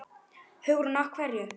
Hugrún: Af hverju?